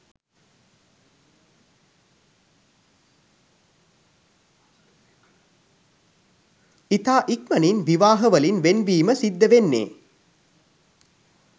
ඉතා ඉක්මනින් විවාහ වලින් වෙන් වීම සිද්ධ වෙන්නේ.